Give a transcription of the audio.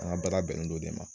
An ka baara bɛnnen don o de ma.